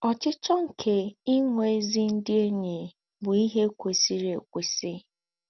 Ọ́chíchọ́ nké ìnwé ézí ndí́ éṇyí bú íhé kwèsírì ékwèsí.